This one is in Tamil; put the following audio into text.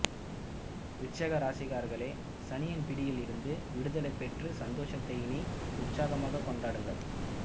விருச்சிக ராசிக்காரர்களே சனியின் பிடியில் இருந்து விடுதலை பெற்ற சந்தோஷத்தை இனி உற்சாகமாக கொண்டாடுங்கள்